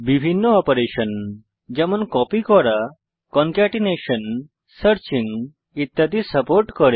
বিভিন্ন অপারেশন যেমন কপি করা কনকেটিনেশন সার্চিং ইত্যাদি সাপোর্ট করে